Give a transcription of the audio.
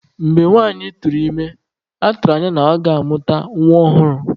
Mgbe nwanyị tụrụ ime, a tụrụ anya na ọ ga-amụta nwa ọhụrụ.